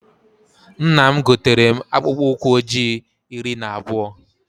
Nna m gotere mụ akpụkpụ ụkwụ ọjị iri na abụọ